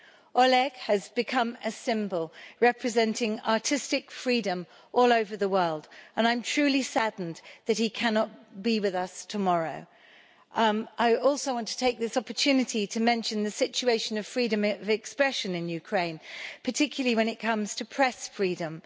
Oleg has become a symbol representing artistic freedom all over the world, and I am truly saddened that he cannot be with us tomorrow. I also want to take this opportunity to mention the situation of freedom of expression in Ukraine, particularly when it comes to press freedom.